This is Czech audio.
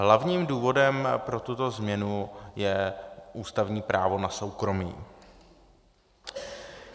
Hlavním důvodem pro tuto změnu je ústavní právo na soukromí.